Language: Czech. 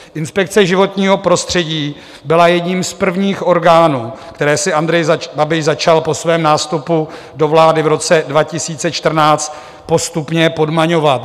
Inspekce životního prostředí byla jedním z prvních orgánů, které si Andrej Babiš začal po svém nástupu do vlády v roce 2014 postupně podmaňovat.